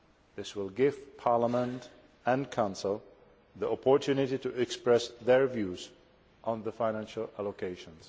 This will give Parliament and the Council the opportunity to express their views on the financial allocations.